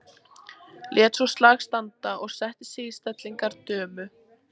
Lét svo slag standa og setti sig í stellingar dömu.